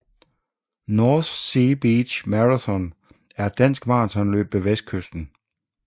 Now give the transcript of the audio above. North Sea Beach Marathon er et dansk maratonløb ved Vestkysten